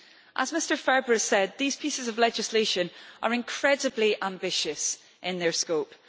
As Mr Ferber said, these pieces of legislation are incredibly ambitious in their scope.